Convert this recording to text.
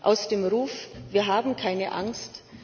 Aus dem Ruf Wir haben keine Angst!